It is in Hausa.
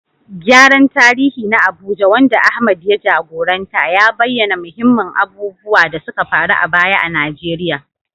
Gyaran tarihi na Abuja, wanda Ahmad ya jagoranta, ya bayyana muhimman abubuwan da suka faru a baya a Najeriya